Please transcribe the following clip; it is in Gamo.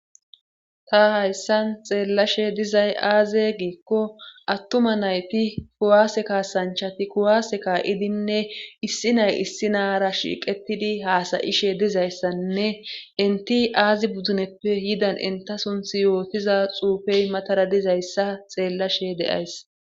Ta hayssan xeellashe dizay aaze giikko attuma nayti kuwaase kaasanchati kuwaase kaa7idinne issi nay issi naara shiiqetidi haasayishe dizayssanne inti aazi buduneppe yidan inta sunthi yootiza xuufey matara dizayssa xeellashe deays